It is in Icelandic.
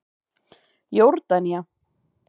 Jórdanía